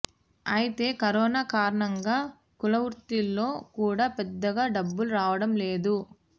అయితే కరోనా కారణంగా కులవృత్తుల్లో కూడా పెద్దగా డబ్బులు రావడం లేదు